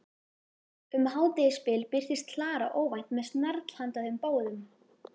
Um hádegisbil birtist Klara óvænt með snarl handa þeim báðum.